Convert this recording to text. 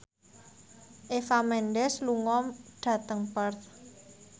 Eva Mendes lunga dhateng Perth